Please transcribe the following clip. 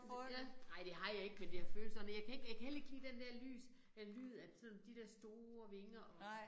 Ja nej det har jeg ikke men det har føltes sådan og jeg kan ikke jeg kan heller ikke lide den der lys eller lyd af sådan de der store vinger og